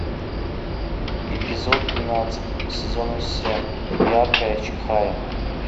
эпизод двенадцать сезона семь яркая чихая